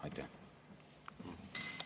Aitäh!